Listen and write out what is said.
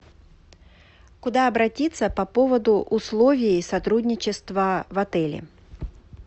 куда обратиться по поводу условий сотрудничества в отеле